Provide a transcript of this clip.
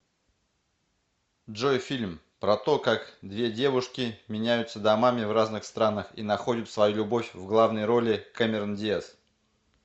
джой фильм про то как две девушки меняются домами в разных странах и находят свою любовь в главной роли кэмерон диас